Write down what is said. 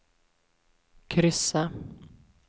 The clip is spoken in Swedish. kryssa